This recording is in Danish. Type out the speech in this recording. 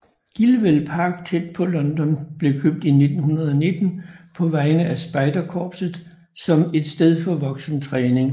Gilwell Park tæt på London blev købt i 1919 på vegne af Spejderkorpset som et sted for voksentræning og spejderlejr